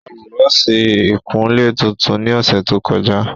Ó ra Búrọ́ọ̀sì ìkunlé tuntun ní ọ̀sẹ̀ tó kọjá